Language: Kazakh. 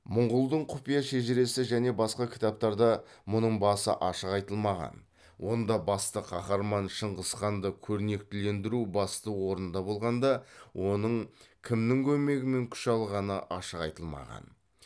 мұңғұлдың құпия шежіресі және басқа кітаптарда мұның басы ашық айтылмаған онда басты қаһарман шыңғысханды көрнектілендіру басты орында болғанда оның кімнің көмегімен күш алғаны ашық айтылмаған